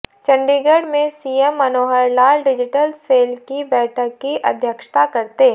चंडीगढ़ में CM Manohar Lal digital cell की बैठक की अध्यक्षता करते